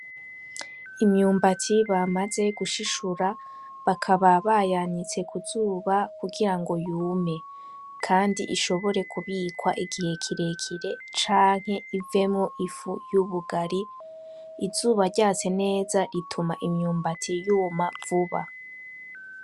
Imyumbati bamaze gushishura, bakaba bayanitse ku zuba kugira ngo yume, kandi ishobore kubikwa igihe kirekire canke ivemwo ifu y'ubugari, izuba ryatse neza ituma imyumbati yuma vuba.